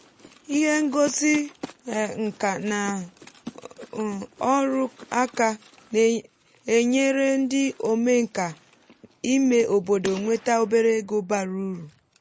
ihe ngosi um nka na um ọrụ aka na-enyere ndị omenkà ime obodo nweta obere ego bara uru.